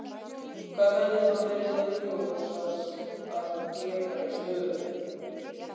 Hvað hefði þá verið augljósast að gera í stöðunni?